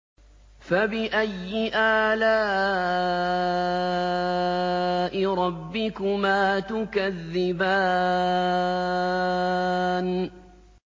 فَبِأَيِّ آلَاءِ رَبِّكُمَا تُكَذِّبَانِ